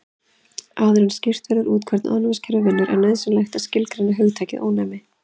Áður en skýrt verður út hvernig ónæmiskerfið vinnur er nauðsynlegt að skilgreina hugtakið ónæmi.